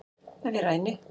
Ef ég ræni